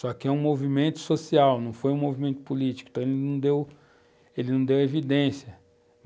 Só que é um movimento social, não foi um movimento político, então ele não deu, ele não deu evidência.